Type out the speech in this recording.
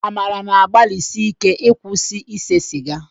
Amara na-agbalisíké ịkwụsị ịse sịga